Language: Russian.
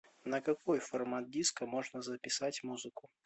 на какой формат диска можно записать музыку